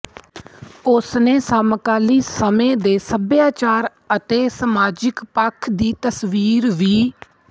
ਉਸਨੇ ਸਮਕਾਲੀ ਸਮੇਂ ਦੇ ਸੱਭਿਆਚਾਰ ਅਤੇ ਸਮਾਜਿਕ ਪੱਖ ਦੀ ਤਸਵੀਰ ਵੀ